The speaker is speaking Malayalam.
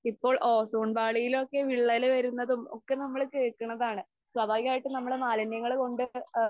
ഇപ്പോൾ ഓസോൺ പാളിയിലൊക്കെ വിള്ളല് വരുന്നതും ഒക്കെ നമ്മള് കേൾക്കണതാണ്. സ്വാഭാവികമായിട്ടും നമ്മള് മാലിന്യങ്ങള് കൊണ്ട്